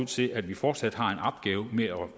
til at vi fortsat har